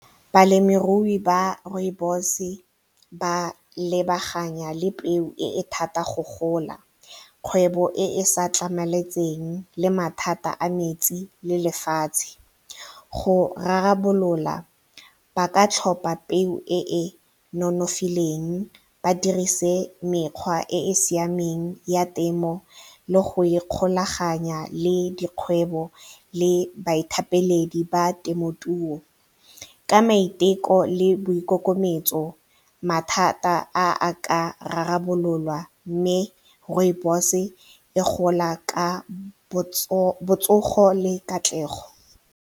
Balemirui ba rooibos ba lebaganya le peo e e thata go gola, kgwebo e e sa tlhamaletseng le mathata a metsi le lefatshe. Go rarabolola ba ka tlhopa peo e e nonofileng ba dirise mekgwa e e siameng ya temo le go ikgolaganya le dikgwebo le baithapeledi ba temothuo ka maiteko le boikokobetso mathata a, a ka rarabololwa mme rooibos-e e gola ka botsogo le katlego.